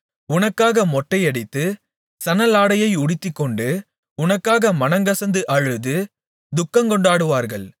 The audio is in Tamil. உனக்காக மொட்டையடித்து சணலாடையை உடுத்திக்கொண்டு உனக்காக மனம்கசந்து அழுது துக்கங்கொண்டாடுவார்கள்